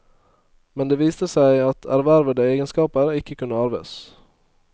Men det viste seg at ervervede egenskaper ikke kunne arves.